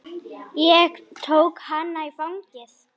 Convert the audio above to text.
Ég tók hana í fangið.